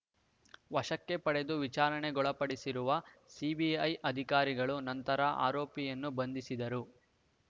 ವಶಕ್ಕೆ ಪಡೆದು ವಿಚಾರಣೆಗೊಳಪಡಿಸಿರುವ ಸಿಬಿಐ ಅಧಿಕಾರಿಗಳು ನಂತರ ಆರೋಪಿಯನ್ನು ಬಂಧಿಸಿದರು